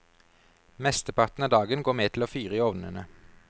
Mesteparten av dagen går med til å fyre i ovnene.